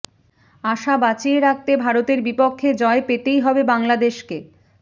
আশা বাঁচিয়ে রাখতে ভারতের বিপক্ষে জয় পেতেই হবে বাংলাদেশকে